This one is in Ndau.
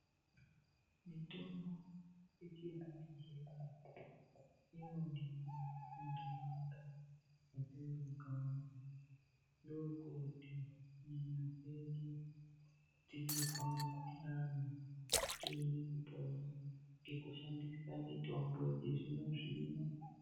Mitombo yechizvino-zvino inodiwa muntaraunda matinobvamo. Ndokuti nyama dzedu, teizwa mukuhlane tione kupona nekushandisa mitombo yechizvinozvino.